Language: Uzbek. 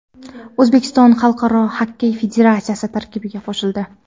O‘zbekiston Xalqaro xokkey federatsiyasi tarkibiga qo‘shildi.